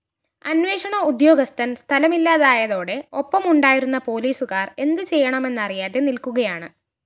അന്വേഷണ ഉദ്യോഗസ്ഥന്‍ സ്ഥലത്തില്ലാതായതോടെ ഒപ്പമുണ്ടായിരുന്ന പോലീസുകാര്‍ എന്ത് ചെയ്യണമെന്നറിയാതെ നില്‍ക്കുകയാണ്